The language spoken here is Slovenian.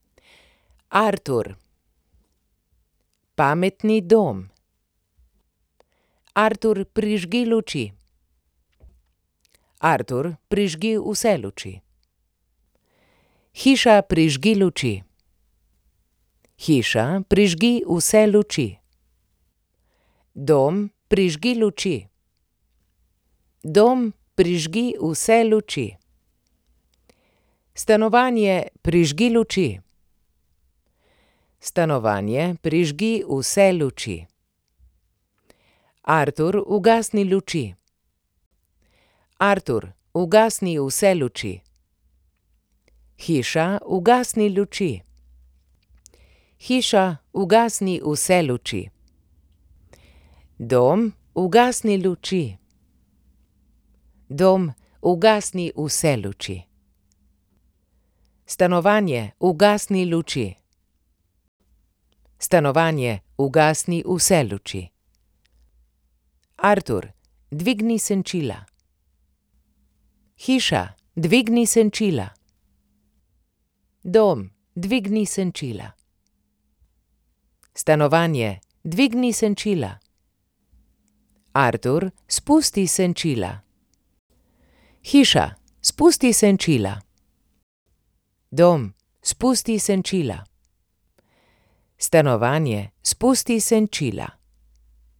Artur. Pametni dom. Artur, prižgi luči. Artur, prižgi vse luči. Hiša, prižgi luči. Hiša, prižgi vse luči. Dom, prižgi luči. Dom, prižgi vse luči. Stanovanje, prižgi luči. Stanovanje, prižgi vse luči. Artur, ugasni luči. Artur, ugasni vse luči. Hiša, ugasni luči. Hiša, ugasni vse luči. Dom, ugasni luči. Dom, ugasni vse luči. Stanovanje, ugasni luči. Stanovanje, ugasni vse luči. Artur, dvigni senčila. Hiša, dvigni senčila. Dom, dvigni senčila. Stanovanje, dvigni senčila. Artur, spusti senčila. Hiša, spusti senčila. Dom, spusti senčila. Stanovanje, spusti senčila.